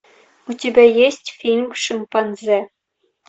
у тебя есть фильм шимпанзе